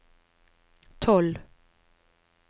tolv